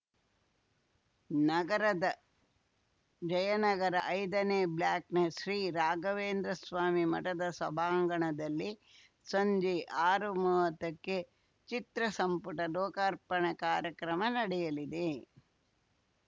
ನಗರದ ಜಯನಗರ ಐದನೇ ಬ್ಲಾಕ್‌ನ ಶ್ರೀ ರಾಘವೇಂದ್ರಸ್ವಾಮಿ ಮಠದ ಸಭಾಂಗಣದಲ್ಲಿ ಸಂಜೆ ಆರುಮುವತ್ತಕ್ಕೆ ಚಿತ್ರಸಂಪುಟ ಲೋಕಾರ್ಪಣೆ ಕಾರ್ಯಕ್ರಮ ನಡೆಯಲಿದೆ